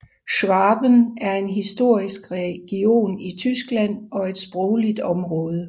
Schwaben er en historisk region i Tyskland og et sprogligt område